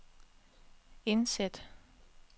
indsæt